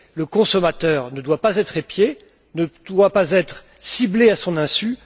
Le consommateur ne doit pas être épié, ne doit pas être ciblé à son insu.